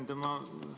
Hea ettekandja!